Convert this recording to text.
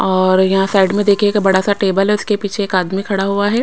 और यहां साइड में देखिए एक बड़ा सा टेबल है उसके पीछे एक आदमी खड़ा हुआ है।